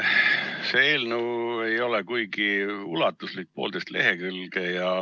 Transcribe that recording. See eelnõu ei ole kuigi ulatuslik, poolteist lehekülge.